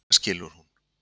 Og skyndilega skilur hún.